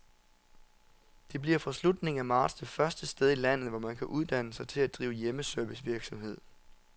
Det bliver fra slutningen af marts det første sted i landet, hvor man kan uddanne sig til at drive hjemmeservicevirksomhed.